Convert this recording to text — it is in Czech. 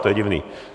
To je divné.